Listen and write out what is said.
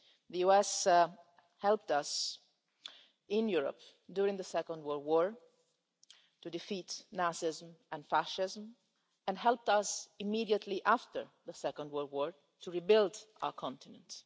The USA helped us in Europe, during the Second World War, to defeat Nazism and fascism, and helped us immediately after the Second World War to rebuild our continent.